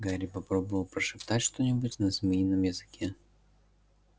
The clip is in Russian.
гарри попробовал прошептать что-нибудь на змеином языке